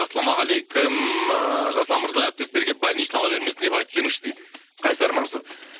ассалаумағалейкум ыыы жасұлан мырза әріптестерге больничный ала бермесін деп айтып жіберіңізші дейді қайсар мансұр